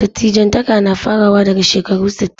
Dattijantaka na farawa daga shekaru sittin.